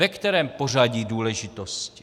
Ve kterém pořadí důležitosti?